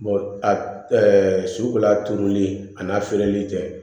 a ɛɛ sugula turuli a n'a feereli tɛ